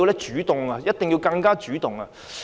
政府一定要更主動。